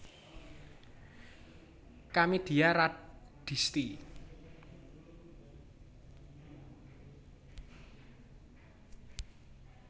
Kamidia Radisti